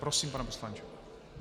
Prosím, pane poslanče.